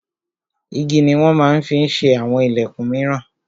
Igi ni wọn ma ń fi ṣe àwọn ìlẹ̀kun míràn.